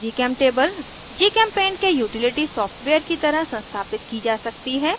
gchemtable gchempaint के utility software की तरह संस्थापित की जा सकती है